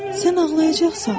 Sən ağlayacaqsan.